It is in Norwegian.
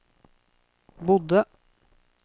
bodde